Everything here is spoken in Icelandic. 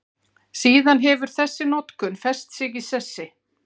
Síðan hefur þessi notkun fest sig í sessi.